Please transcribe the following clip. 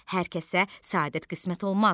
Hər kəsə səadət qismət olmaz.